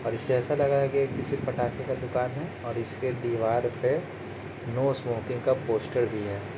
और इससे ऐसा लग रहा है की ये किसी पटाखे का दुकान है और इसके दीवार पे नो स्मोकिंग का पोस्टर भी है ।